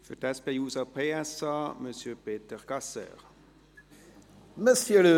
Für die SP-JUSO-PSA: M. Peter Gasser.